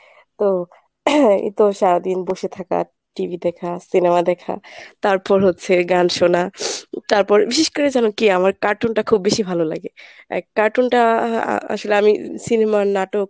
তো তো সারাদিন বসে থাকা, TV দেখা cinema দেখা, তারপর হচ্ছে গান শোনা, তারপর বিশেষ করে জানো কী ? আমার cartoon টা খুব বেশি ভালো লাগে । cartoon টা আ~ আসলে আমি সিনেমার নাটক